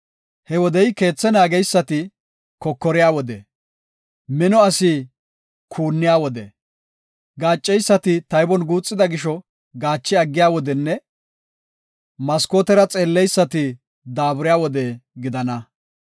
He wodey keethe naageysati kokoriya wode, mino asi kuuniya wode, gaacceysati taybon guuxida gisho gaache aggiya wodenne maskootera xeelleysati daaburiya wode gidana.